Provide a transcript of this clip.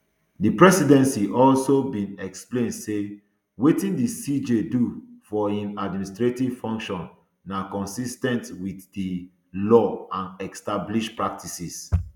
di presidency also bin explain say wetin di cj do for im administrative function na consis ten t wit di law and established practices